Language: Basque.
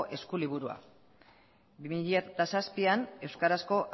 eskuliburua bi mila zazpian euskarazko